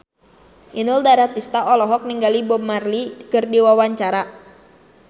Inul Daratista olohok ningali Bob Marley keur diwawancara